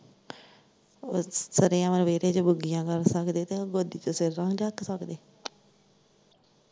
ਓ ਸਰੇਆਮ ਵਿਹੜੇ ਚ ਬੁੱਗੀਆ ਕਰ ਸਕਦੇ ਤੇ ਓਹ ਗੋਦੀ ਚ ਸਿਰ ਕਿਉਂ ਨੀ ਰੱਖ ਸਕਦੇ।